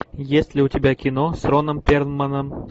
есть ли у тебя кино с роном перлманом